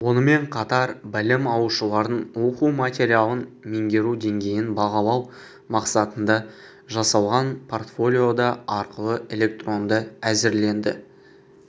онымен қатар білім алушылардың оқу материалын меңгеру деңгейін бағалау мақсатында жасалған портфолио да арқылы электронды әзірленді